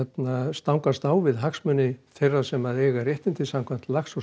stangast á við hagsmuni þeirra sem eiga réttindi samkvæmt lax og